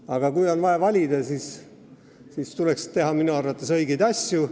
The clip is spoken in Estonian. Aga kui on vaja valida, siis tuleks minu arvates teha õigeid asju.